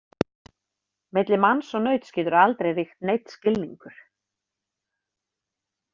Milli manns og nauts getur aldrei ríkt neinn skilningur.